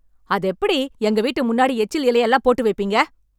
அதெப்படி எங்க வீட்டு முன்னாடி, எச்சில் இலையெல்லாம் போட்டுவைப்பீங்க...